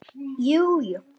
Jú, jú.